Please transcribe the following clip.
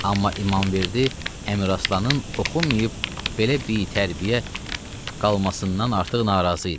Amma İmamverdi Əmiraslanın oxunmayıb belə bitərbiyə qalmasından artıq narazı idi.